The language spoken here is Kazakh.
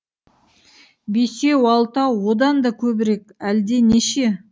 бесеу алтау одан да көбірек әлденеше